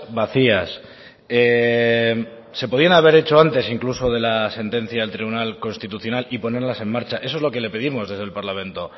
vacías se podían haber hechos antes incluso de la sentencia del tribunal constitucional y ponerlas en marcha eso es lo que le pedimos desde el parlamento